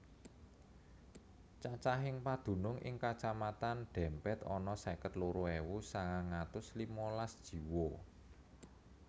Cacahing padunung ing Kacamatan Dempet ana seket loro ewu sangang atus limalas jiwa